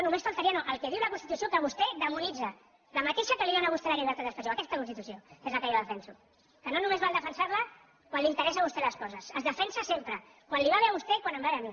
només faltaria no el que diu la constitució que vostè demonitza la mateixa que li dóna a vostè la llibertat d’expressió aquesta constitució és el que jo defenso que no només val defensar la quan li interessa a vostè les coses es defensa sempre quan li va bé a vostè i quan em va bé a mi